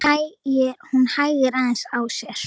Hún hægir aðeins á sér.